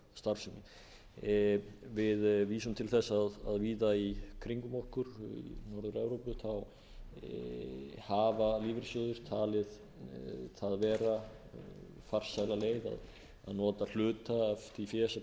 starfsemi við vísum til þess að víða í kringum okkur í norður evrópu hafa lífeyrissjóðir talið það vera farsæla leið að nota hluta af því fé sem